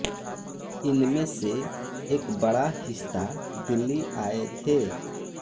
इनमे से एक बड़ा हिस्ता दिल्ली आए थे